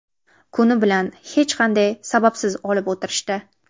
Kuni bilan hech qanday sababsiz olib o‘tirishdi.